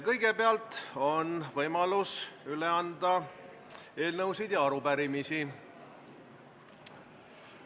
Kõigepealt on võimalus üle anda eelnõusid ja arupärimisi.